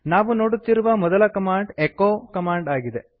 ನಾವು ನೋಡುತ್ತಿರುವ ಮೊದಲ ಕಮಾಂಡ್ ಎಚೊ ಕಮಾಂಡ್ ಆಗಿದೆ